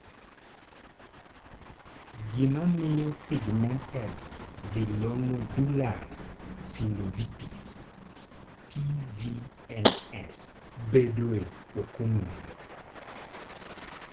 Gima miyo pigmented villonodular synovitis (PVNS) bedoe ok ong'ere.